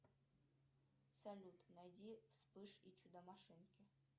салют найди вспыш и чудо машинки